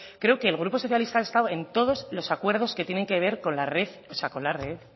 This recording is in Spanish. creo el grupo socialista ha estado en todos los acuerdos que tienen que ver